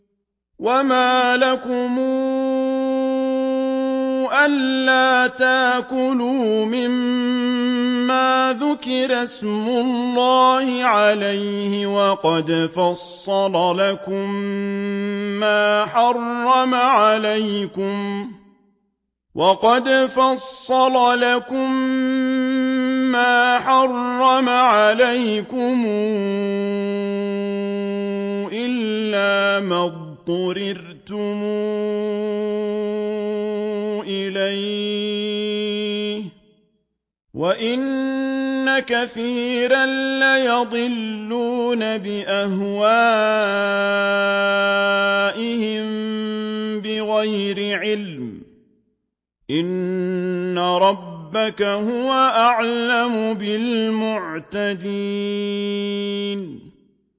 وَمَا لَكُمْ أَلَّا تَأْكُلُوا مِمَّا ذُكِرَ اسْمُ اللَّهِ عَلَيْهِ وَقَدْ فَصَّلَ لَكُم مَّا حَرَّمَ عَلَيْكُمْ إِلَّا مَا اضْطُرِرْتُمْ إِلَيْهِ ۗ وَإِنَّ كَثِيرًا لَّيُضِلُّونَ بِأَهْوَائِهِم بِغَيْرِ عِلْمٍ ۗ إِنَّ رَبَّكَ هُوَ أَعْلَمُ بِالْمُعْتَدِينَ